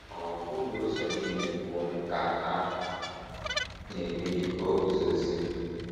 “ Ọ́ bụghị ụzọ nile nke unu ka a na - emeghị ka o guzozie? ”